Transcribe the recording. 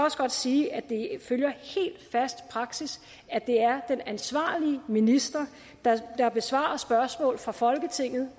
sige at det følger helt fast praksis at det er den ansvarlige minister der besvarer spørgsmål fra folketinget